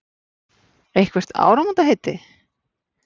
Eitthvert áramótaheiti?